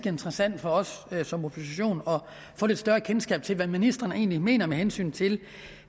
interessant for os som opposition at få lidt større kendskab til hvad ministrene egentlig mener med hensyn til